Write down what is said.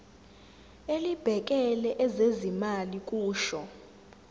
elibhekele ezezimali kusho